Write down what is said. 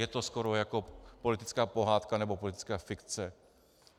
Je to skoro jako politická pohádka nebo politická fikce.